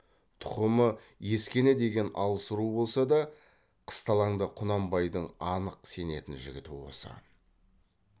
тұқымы ескене деген алыс ру болса да қысталаңда құнанбайдың анық сенетін жігіті осы